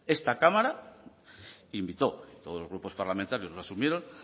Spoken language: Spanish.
esta cámara invitó todos los grupos parlamentarios lo asumieron